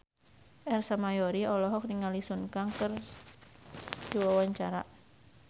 Ersa Mayori olohok ningali Sun Kang keur diwawancara